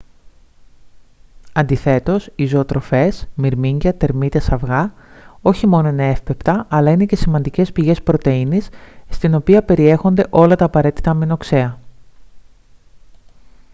αντιθέτως οι ζωoτροφές μυρμήγκια τερμίτες αυγά όχι μόνο είναι εύπεπτα αλλά είναι και σημαντικές πηγές πρωτεΐνης στην οποία περιέχονται όλα τα απαραίτητα αμινοξέα